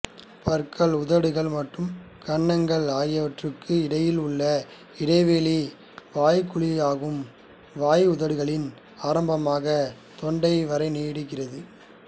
பற்கள் உதடுகள் மற்றும் கன்னங்கள் ஆகியனவற்றுக்கு இடையில் உள்ள இடைவெளி வாய்குழியாகும் வாய் உதடுகளில் ஆரம்பமாகித் தொண்டை வரை நீடிக்கிறது